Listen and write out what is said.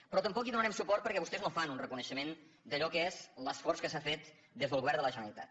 però tampoc hi donarem suport perquè vostès no fan un reconeixement d’allò que és l’esforç que s’ha fet des del govern de la generalitat